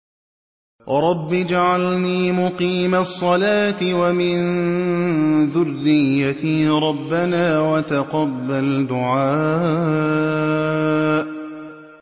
رَبِّ اجْعَلْنِي مُقِيمَ الصَّلَاةِ وَمِن ذُرِّيَّتِي ۚ رَبَّنَا وَتَقَبَّلْ دُعَاءِ